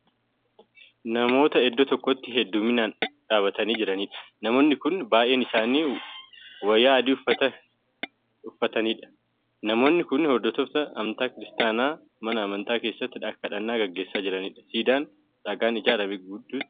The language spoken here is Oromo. Namoota iddoo tokkootti heeddumminaan dhaabatanii jiraniidha. namoo ni Kuni baay'een isaanii wayaa adii uffatanii Kan jiraniidha. namoonni Kuni hordoftoota amantaa kiristaanaa mana amantaa keessatti kadhannaa gaggeessaa jiraniidha. siidaan dhagaadhaan ijaarame gidduu isaanitti argama